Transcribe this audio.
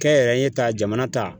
Kɛnyɛrɛye ta jamana ta